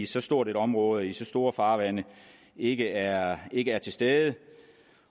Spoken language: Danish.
så stort et område i så store farvande ikke er ikke er til stede